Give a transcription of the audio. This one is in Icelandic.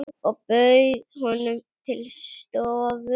Ég bauð honum til stofu.